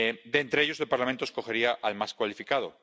De entre ellos, el Parlamento escogería al más cualificado.